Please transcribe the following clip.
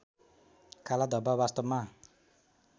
काला धब्बा वास्तवमा